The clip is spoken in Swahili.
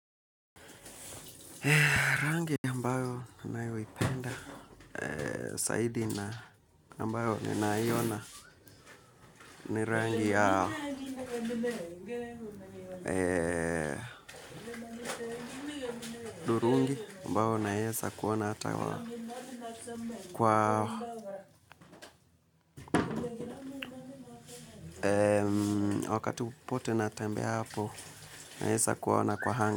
Rangi ambayo ninayoipenda zaidi na ambayo ninaiona ni rangi ya udurungi ambao naweza kuona ata kwa wakati popote natembeapo naweza kwa.